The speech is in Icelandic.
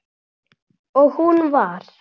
Og hún var